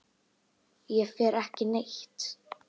Ég fer ekki neitt.